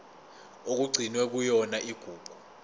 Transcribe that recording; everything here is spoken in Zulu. okugcinwe kuyona igugu